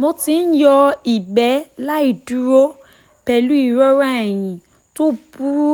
mo ti ń yọ ìgbẹ́ láì dúró pẹ̀lú ìrora ẹ̀yìn tó burú